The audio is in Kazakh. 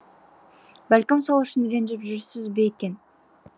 бәлкім сол үшін ренжіп жүрсіз бе екен